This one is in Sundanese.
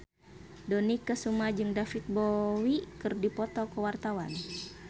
Dony Kesuma jeung David Bowie keur dipoto ku wartawan